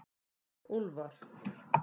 Úlfar